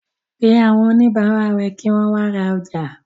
Pé àwọn oníbàárà rẹ̀ kí wọ́n wa ra ọjà.